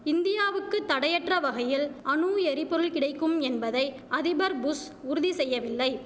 இந்தியாவுக்கு தடையற்ற வகையில் அணு எரிபொர்ள் கிடைக்கும் என்பதை அதிபர் புஷ் உறுதி செய்யவில்லை